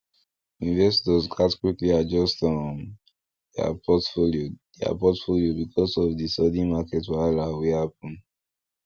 investors gats quickly adjust um their portfolio their portfolio because of the sudden market wahala wey happen